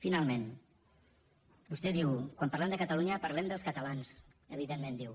finalment vostè diu quan parlem de catalunya parlem dels catalans evidentment diu